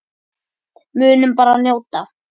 Munum bara að njóta.